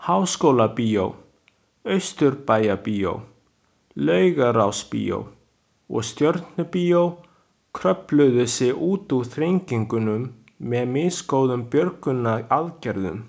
Háskólabíó, Austurbæjarbíó, Laugarásbíó og Stjörnubíó kröfluðu sig út úr þrengingunum með misgóðum björgunaraðgerðum.